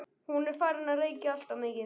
Hún er farin að reykja alltof mikið.